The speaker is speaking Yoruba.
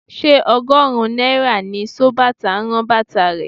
Ṣé ọgọ́rùn-ún náírà ni sobàtà ń rán bàtà rẹ?